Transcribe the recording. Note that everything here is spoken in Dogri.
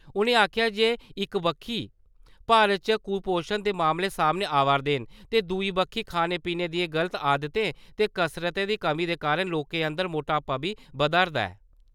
उ'नें आखेआ जे इक बक्खी भारत च कपोशन दे मामले सामने आवै′रदे न ते दुए बक्खी खाने-पीने दियें गलत आदतें ते कसरत दी कमी दे कारण लोकें अंदर मोटापा बी बधा 'रदा ऐ ।